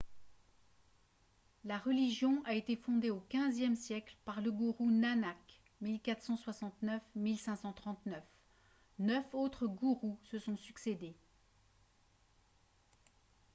la religion a été fondée au xve siècle par le gourou nanak 1469-1539. neuf autres gourous se sont succédés